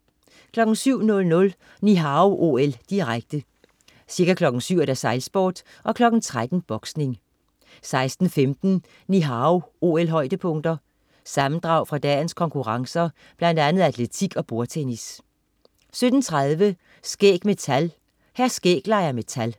07.00 Ni Hao OL, direkte. Ca. kl. 7.00: Sejlsport. 13.00: Boksning 16.15 Ni Hao OL-højdepunkter. Sammendrag fra dagens konkurrencer, blandt andet atletik og bordtennis 17.30 Skæg med tal. Hr. Skæg leger med tal